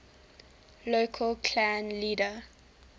local clan leader